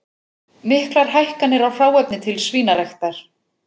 Miklar hækkanir á hráefni til svínaræktar